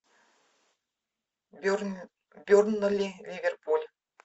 бернли ливерпуль